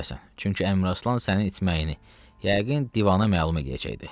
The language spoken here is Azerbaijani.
Çünki Əmiraslan sənin itməyini, yəqin divana məlum eləyəcəkdi.